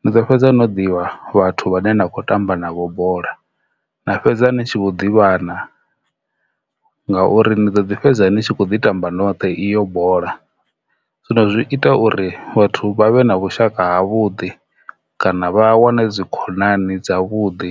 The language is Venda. ni ḓo fhedza no ḓivha vhathu vhane na kho tamba navho bola na fhedza ni tshi vho ḓivhana ngauri ndi ḓo ḓi fhedza ni tshi kho ḓi tamba noṱhe iyo bola. Zwino zwi ita uri vhathu vha vhe na vhushaka ha vhuḓi kana vha wane dzikhonani dza vhuḓi.